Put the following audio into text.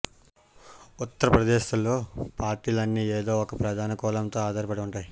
ఉత్తరప్రదేశ్లో పార్టీలన్నీ ఏదో ఒక ప్రధాన కులంతో ఆధారపడి ఉంటాయి